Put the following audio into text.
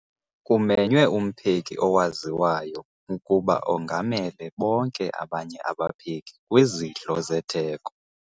Kumenywe umpheki owaziwayo ukuba ongamele bonke abanye abapheki kwizidlo zetheko.